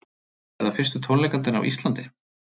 Verða fyrstu tónleikarnir á Íslandi